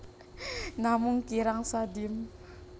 Namung kirang sadim